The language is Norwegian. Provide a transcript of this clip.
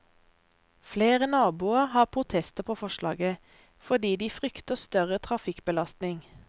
Flere naboer har protester på forslaget, fordi de frykter større trafikkbelastning.